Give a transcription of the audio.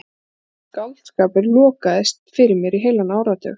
Þá var einsog allur skáldskapur lokaðist fyrir mér í heilan áratug.